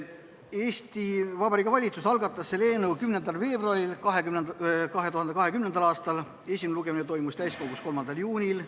Eesti Vabariigi valitsus algatas eelnõu 10. veebruaril 2020. aastal, esimene lugemine toimus täiskogus 3. juunil.